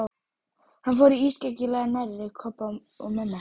Hann fór ískyggilega nærri Kobba og mömmu hans.